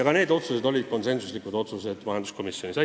Ka need otsused langetas majanduskomisjon konsensusega.